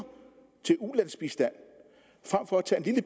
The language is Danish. til ulandsbistand